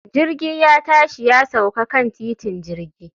Jirgi ya tashi ya sauka kan titin jirgi